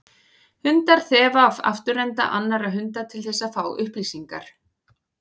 Hundar þefa af afturenda annarra hunda til þess að fá upplýsingar.